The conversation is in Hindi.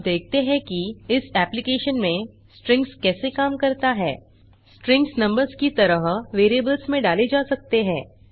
अब देखते हैं कि इस एप्लिकेशन में स्ट्रिंग्स कैसे काम करता है स्ट्रिंग्स नंबर्स की तरह वेरिएबल्स में डाले जा सकते हैं